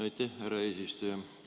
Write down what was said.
Aitäh, härra eesistuja!